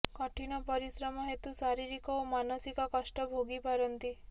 କଠିନ ପରିଶ୍ରମ ହେତୁ ଶାରିରୀକ ଓ ମାନସିକ କଷ୍ଟ ଭୋଗିପାରନ୍ତି